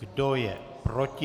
Kdo je proti?